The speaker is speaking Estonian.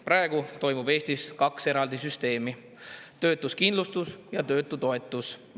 Praegu on Eestis kaks eraldi süsteemi: töötuskindlustus ja töötutoetus.